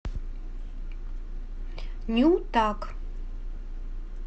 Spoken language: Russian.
нютаг